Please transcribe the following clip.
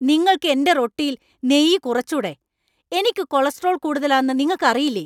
നിങ്ങൾക്ക് എന്‍റെ റൊട്ടിയിൽ നെയ്യ് കുറച്ചൂടേ ? എനിക്ക് കൊളസ്ട്രോൾ കൂടുതലാന്നു നിങ്ങക്കറിയില്ലേ?